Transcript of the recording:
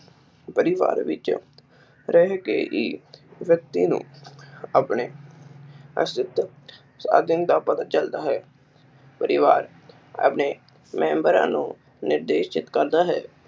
ਪਰਿਵਾਰ ਵਿੱਚ ਰਹਿਕੇ ਹੀ ਵਿਅਕਤੀ ਨੂੰ ਆਪਣੇ ਅਸਲੀ ਸਾਧਨ ਦਾ ਪਤਾ ਚਲਦਾ ਹੈ। ਪਰਿਵਾਰ ਆਪਣੇ ਮੇਮ੍ਬਰਾਂ ਨੂੰ ਨਿਰਦੇਸ਼ਿਤ ਕਰਦਾ ਹੈ।